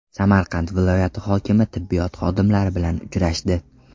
Samarqand viloyati hokimi tibbiyot xodimlari bilan uchrashdi.